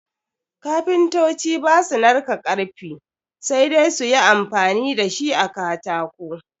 Kapintoci ba su narka karfi, sai dai su yi amfani da shi a katako.